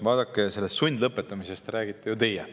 Vaadake, sundlõpetamisest räägite ju teie.